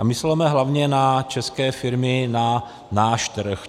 A mysleme hlavně na české firmy, na náš trh.